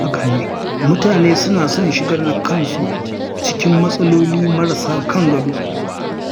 Mutane suna son shigar da kansu cikin matsololi marasa kan gado.